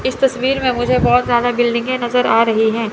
इस तस्वीर में मुझे बहोत ज्यादा बिल्डिंगे नजर आ रही हैं।